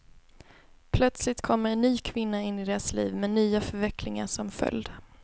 Plötsligt kommer en ny kvinna in i deras liv, med nya förvecklingar som följd.